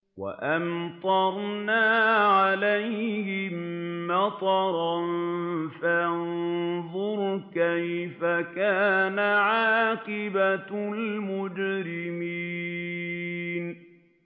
وَأَمْطَرْنَا عَلَيْهِم مَّطَرًا ۖ فَانظُرْ كَيْفَ كَانَ عَاقِبَةُ الْمُجْرِمِينَ